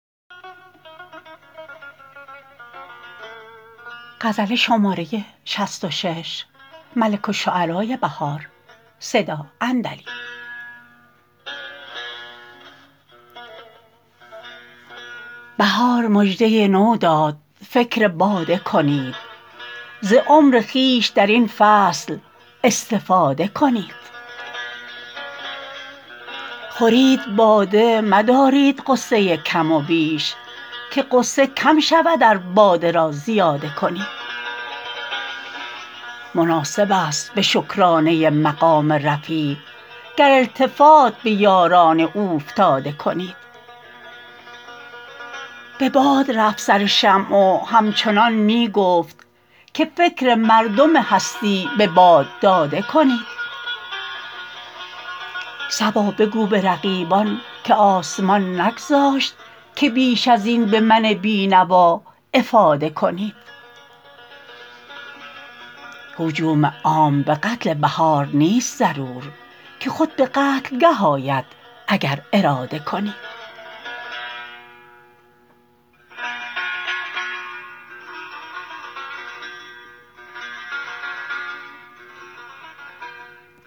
بهار مژده نو داد فکر باده کنید ز عمر خویش در این فصل استفاده کنید خورید باده مدارید غصه کم و بیش که غصه کم شود ار باده را زیاده کنید مناسب است به شکرانه مقام رفیع گر التفات به یاران اوفتاده کنید به باد رفت سرشمع وهمچنان می گفت که فکر مردم هستی به باد داده کنید صبا بگو به رقیبان که آسمان نگذاشت که بیش ازین به من بینوا افاده کنید هجوم عام به قتل بهار نیست ضرور که خود به قتلگه آید اگر اراده کنید